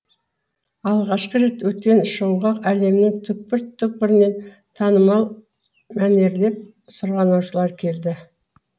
алғашқы рет өткен шоуға әлемнің түкпір түкпірінен танымал мәнерлеп сырғанаушылар келді